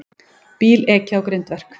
Bíl ekið á grindverk